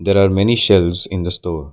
There are many shelves in the store.